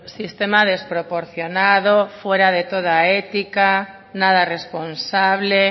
sistema desproporcionado fuera de toda ética nada responsable